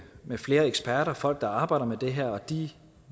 flere eksperter folk der arbejder med det her og de